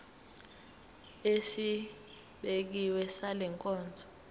esibekiwe sale nkonzo